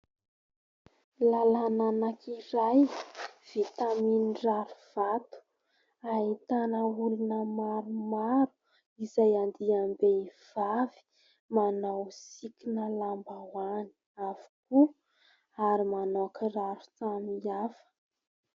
Lalana anankiray vita aminy rarivato ahitana olona maromaro izay andiam-behivavy, manao sikina lambahoany avokoa ary manao kiraro samy hafa.